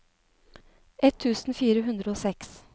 ett tusen fire hundre og seks